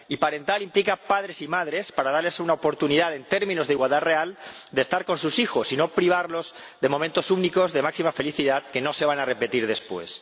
Y parental implica padres y madres, para darles una oportunidad en términos de igualdad real de estar con sus hijos, y no privarlos de momentos únicos de máxima felicidad que no se van a repetir después.